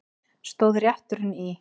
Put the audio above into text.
Stóð rétturinn í